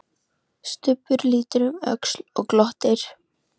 Stubbur lítur um öxl og glottir.